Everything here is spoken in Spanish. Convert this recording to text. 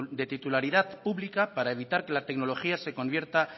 de titularidad pública para evitar que la tecnología se convierta